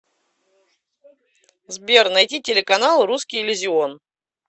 сбер найти телеканал русский иллюзион